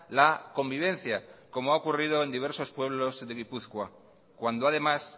la convivencia como ha ocurrido en diversos pueblos de gipuzkoa cuando además